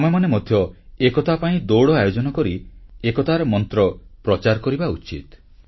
ଆମେମାନେ ମଧ୍ୟ ଏକତା ପାଇଁ ଦୌଡ଼ ଆୟୋଜନକରି ଏକତାର ମନ୍ତ୍ର ପ୍ରଚାର କରିବା ଉଚିତ